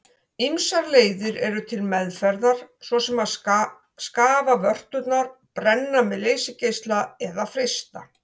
Ýmsar leiðir eru til meðferðar svo sem að skafa vörturnar, brenna með leysigeisla eða frysta.